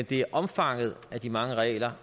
det er omfanget af de mange regler